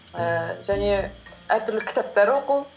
ііі және әртүрлі кітаптар оқу